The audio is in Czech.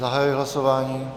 Zahajuji hlasování.